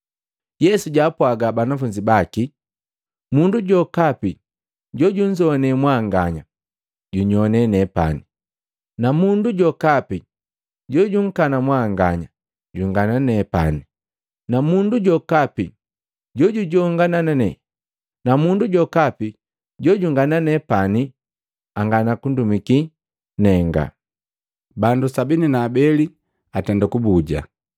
Yesu jaapwaga banafunzi baki, “Mundu jokapi jojunzoane mwanganya, junyoane nepani, na mundu jokapi jojunkana mwanganya, jungana nenga. Na mundu jokapi jojungana nenga, ankana jojundumiki nenga!” Bandu makomi saba na abele bala atenda kubuja